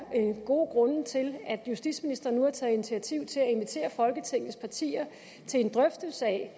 gode grunde til at justitsministeren nu har taget initiativ til at invitere folketingets partier til en drøftelse af